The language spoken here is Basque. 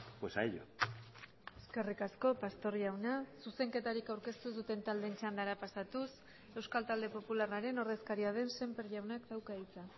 pues a ello eskerrik asko pastor jauna zuzenketarik aurkeztu ez duten taldeen txandara pasatuz euskal talde popularraren ordezkaria den sémper jaunak dauka hitza